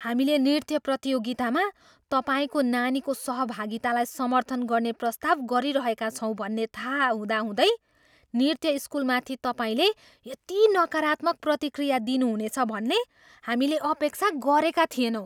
हामीले नृत्य प्रतियोगितामा तपाईँको नानीको सहभागितालाई समर्थन गर्ने प्रस्ताव गरिरहेका छौँ भन्ने थाहा हुँदाहुँदै नृत्य स्कुलमाथि तपाईँले यति नकारात्मक प्रतिक्रिया दिनुहुनेछ भन्ने हामीले अपेक्षा गरेका थिएनौँ।